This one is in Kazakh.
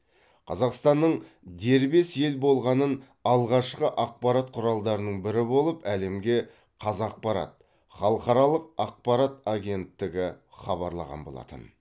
қазақстанның дербес ел болғанын алғашқы ақпарат құралдарының бірі болып әлемге қазақпарат халықаралық ақпарат агенттігі хабарлаған болатын